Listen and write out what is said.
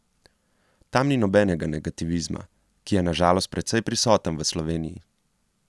Tam ni nobenega negativizma, ki je na žalost precej prisoten v Sloveniji.